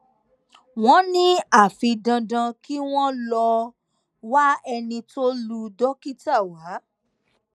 wọn ní àfi dandan kí wọn lọọ wá ẹni tó lu dókítà wá